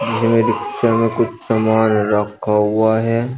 हमे रिक्शा में कुछ समान रखा हुआ है।